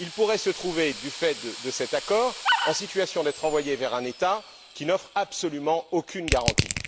Ils pourraient se trouver, du fait de cet accord, en situation d'être envoyés vers un État qui n'offre absolument aucune garantie.